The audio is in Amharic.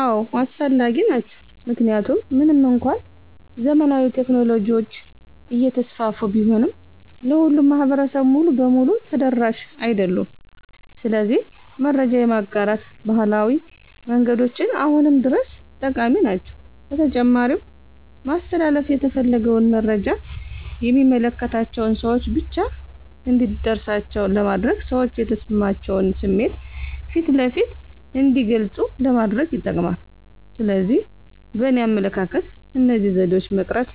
አዎ አስፈላጊ ናቸው። ምክንያቱም ምንም እንኳን ዘመናዊ ቴክኖሎጂዎች እየተስፋፉ ቢሆንም ለሁሉም ማህበረሰብ ሙሉ በሙሉ ተደራሽ አይደሉም። ስለዚህ መረጃ የማጋራት ባህላዊ መንገዶች አሁንም ድረስ ጠቃሚ ናቸው። በተጨማሪም ማስተላለፍ የተፈለገውን መረጃ የሚመለከታቸው ሰወች ብቻ እንዲደርሳቸው ለማድረግና ሰዎች የተሰማቸውን ስሜት ፊት ለፊት እንዲገልጹ ለማድረግ ይጠቅማል። ስለዚህ በእኔ አመለካከት እነዚህ ዘዴዎች መቅረት